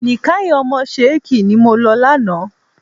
Nìkáì ọmọ Ṣẹ̀kí ni mo lọ lánàá.